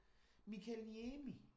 Mikael Niemi?